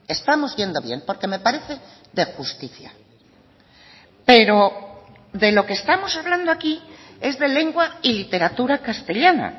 estamos yendo bien porque me parece de justicia pero de lo que estamos hablando aquí es de lengua y literatura castellana